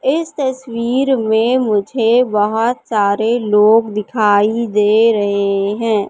इस तस्वीर में मुझे बहोत सारे लोग दिखाई दे रहे हैं।